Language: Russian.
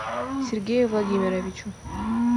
сергею владимировичу